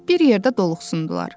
Bir yerdə doluxsundular.